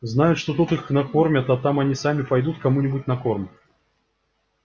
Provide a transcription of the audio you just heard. знают что тут их накормят а там они сами пойдут кому нибудь на корм